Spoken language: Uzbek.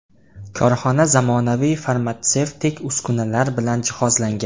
Korxona zamonaviy farmatsevtik uskunalar bilan jihozlangan.